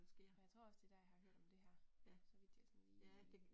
Og jeg tror også det er der jeg har hørt om det her, så vidt jeg sådan lige